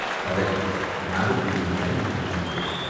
படகு நாகத் தீவின் கரையை அணுகியது.